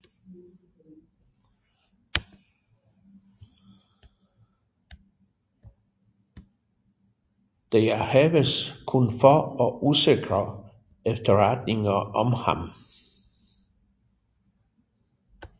Der haves kun få og usikre efterretninger om ham